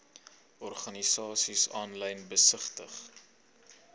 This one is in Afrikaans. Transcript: organisasies aanlyn besigtig